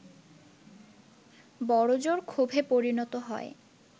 বড় জোর ক্ষোভে পরিণত হয়